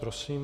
Prosím.